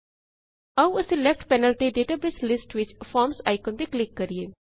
ਆਓ ਅਸੀਂ left panel ਤੇ ਡੇਟਾਬੇਸ ਲਿਸਟ ਵਿਚ ਫਾਰਮਜ਼ ਆਇਕਨ ਤੇ ਕਲਿਕ ਕਰਿਏ